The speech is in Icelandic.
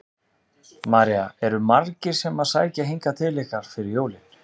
María: Eru margir sem að sækja hingað til ykkar fyrir jólin?